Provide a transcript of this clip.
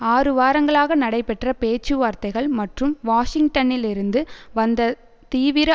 ஆறு வாரங்களாக நடைபெற்ற பேச்சுவார்த்தைகள் மற்றும் வாஷிங்டனிலிருந்து வந்த தீவிர